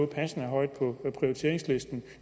passende højt på prioriteringslisten